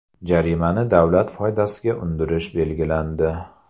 Jarimani davlat foydasiga undirish belgilandi.